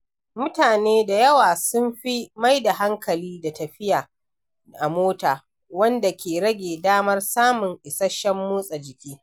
Mutane da yawa sun fi maida hankali da tafiya a mota, wanda ke rage damar samun isasshen motsa jiki.